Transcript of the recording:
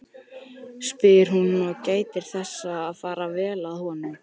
spyr hún og gætir þess að fara vel að honum.